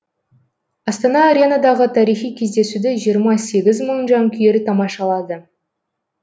астана аренадағы тарихи кездесуді жиырма сегіз мың жанкүйер тамашалады